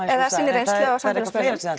eða sinni reynslu á samfélagsmiðlum það